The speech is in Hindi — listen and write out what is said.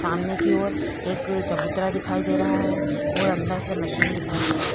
सामने की और एक चबूतरा दिखाई दे रहा है और अंदर से मशीन दिखाई दे रही है।